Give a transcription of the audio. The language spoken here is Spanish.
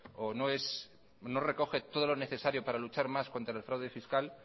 o no recoge todo lo necesario para luchar más contra el fraude fiscal